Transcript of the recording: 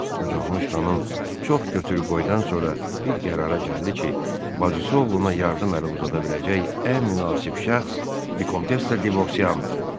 Qocalmış xanım çox götür-qoydan sonra bir qərara gəldi ki, bacısı oğluna yardım əli uzada biləcək ən münasib şəxs Vikontessa Devosyanıdır.